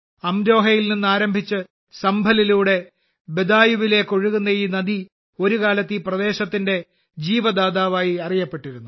അംരോഹയിൽ നിന്ന് ആരംഭിച്ച് സംഭലിലൂടെ ബദായുവിലേക്ക് ഒഴുകുന്ന ഈ നദി ഒരു കാലത്ത് ഈ പ്രദേശത്തെ ജീവദാതാവായി അറിയപ്പെട്ടിരുന്നു